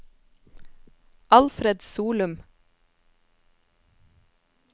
Alfred Solum